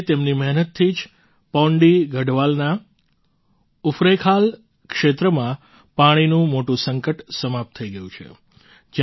આજે તેમની મહેનતથી જ પૌંડી ગઢવાલના ઉફરૈંખાલ ક્ષેત્રમાં પાણીનું મોટું સંકટ સમાપ્ત થઈ ગયું છે